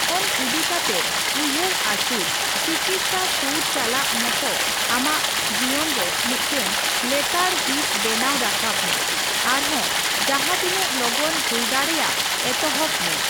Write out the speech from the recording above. ᱫᱷᱚᱱ ᱤᱫᱤ ᱠᱟᱛᱮ ᱩᱭᱦᱟᱹᱨ ᱟᱹᱪᱩᱨ ᱪᱤᱠᱤᱛᱥᱟ ᱥᱩᱨ ᱪᱟᱞᱟᱜ ᱢᱚᱛ ᱟᱢᱟᱜ ᱡᱤᱭᱟᱹᱱ ᱨᱮ ᱢᱤᱫᱴᱟᱝ ᱞᱮᱛᱟᱲ ᱦᱤᱸᱥ ᱵᱮᱱᱟᱣ ᱨᱟᱠᱟᱵ ᱢᱮ ᱟᱨᱦᱚᱸ ᱡᱚᱦᱟ ᱛᱤᱱᱟᱹᱜ ᱞᱚᱜᱚᱱ ᱦᱩᱭᱫᱟᱲᱮᱜ ᱮᱛᱚᱦᱚᱵ ᱢᱮ᱾